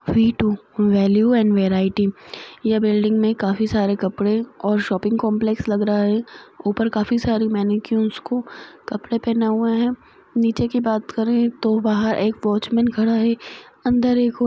value and variety यह building मे काफी सारे कपड़े और शॉपिंग कॉम्प्लेक्स लग रहा है ऊपर काफी सारे मैनेक्विन को कपड़े पहना हुए है नीचे की बात करे तो बाहर एक वॉचमैन खड़ा हैअन्दर एक और --